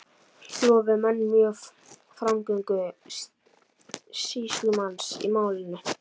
Lofuðu menn mjög framgöngu sýslumanns í málinu.